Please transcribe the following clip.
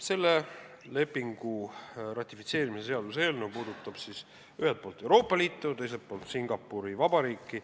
Selle lepingu ratifitseerimise seaduse eelnõu puudutab ühelt poolt Euroopa Liitu ja teiselt poolt Singapuri Vabariiki.